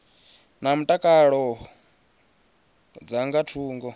na mutakalo dza nga thungo